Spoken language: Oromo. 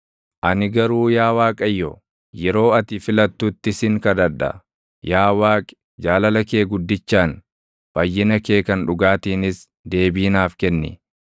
Ani garuu yaa Waaqayyo, yeroo ati filattutti sin kadhadha; yaa Waaqi, jaalala kee guddichaan fayyina kee kan dhugaatiinis deebii naaf kenni.